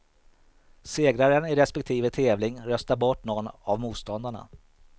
Segraren i respektive tävling röstar bort nån av motståndarna.